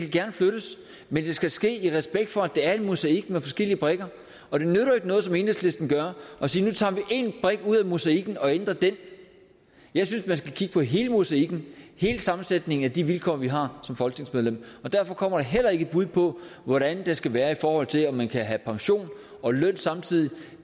gerne flyttes men det skal ske i respekt for at det er en mosaik med forskellige brikker og det nytter jo ikke noget som enhedslisten gør at sige at nu tager vi én brik ud af mosaikken og ændrer den jeg synes at man skal kigge på hele mosaikken hele sammensætningen af de vilkår vi har som folketingsmedlemmer og derfor kommer der heller ikke et bud på hvordan det skal være i forhold til om man kan have pension og løn samtidig